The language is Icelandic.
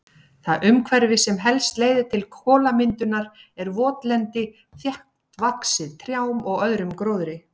Það umhverfi sem helst leiðir til kolamyndunar er votlendi þéttvaxið trjám og öðrum gróðri.